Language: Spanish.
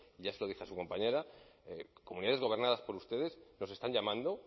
ya se lo dije a su compañera comunidades gobernadas por ustedes nos están llamando